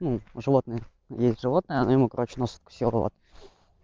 ну животное есть животное она ему короче нос откусила вот